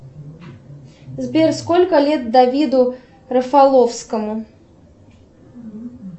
сбер сколько лет давиду рафаловскому